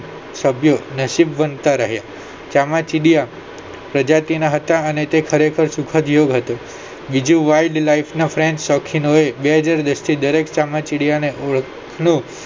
સાથીઓ નસીબવંતા રહે ચામાચીડિયા પ્રજાતિના હતા અને તે ખરેખર સુખદ યુગ હતો બીજું wildlife ના બે હજાર દશથી દરેક ચામાચીડિયા ને ઓળખતા